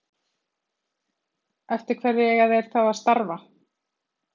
Eftir hverju eiga þeir þá að starfa?